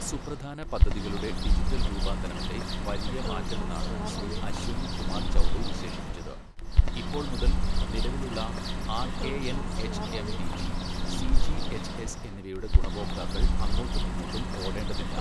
സുപ്രധാന പദ്ധതികളുടെ ഡിജിറ്റൽ രൂപാന്തരണത്തെ വലിയ മാറ്റമെന്നാണ് ശ്രീ അശ്വിനി കുമാർ ചൗബെ വിശേഷിപ്പിച്ചത്, ഇപ്പോൾ മുതൽ നിലവിലുള്ള R A N HMDG, CGHS എന്നിവയുടെ ഗുണഭോക്താക്കൾ അങ്ങോട്ടുമിങ്ങോട്ടും ഓടേണ്ടതില്ല.